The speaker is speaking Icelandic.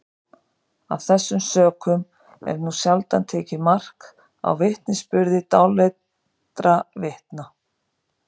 af þessum sökum er nú sjaldan tekið mark á vitnisburði dáleiddra vitna